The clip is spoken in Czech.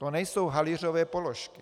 To nejsou halířové položky.